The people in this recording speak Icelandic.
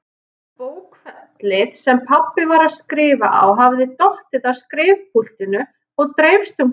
Bókfellið sem pabbi var að skrifa á hafði dottið af skrifpúltinu og dreifst um gólfið.